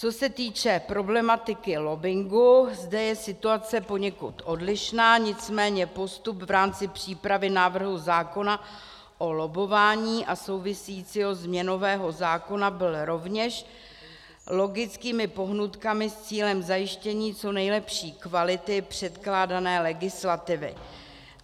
Co se týče problematiky lobbingu, zde je situace poněkud odlišná, nicméně postup v rámci přípravy návrhu zákona o lobbování a souvisejícího změnového zákona byl rovněž logickými pohnutkami s cílem zajištění co nejlepší kvality předkládané legislativy.